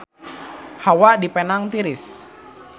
Hawa di Penang tiris